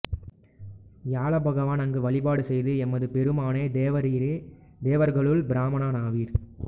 வியாழபகவான் அங்கு வழிபாடு செய்து எமது பெருமானே தேவரீரே தேவர்களுள் பிராமணராவீர்